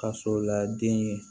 Kaso la den ye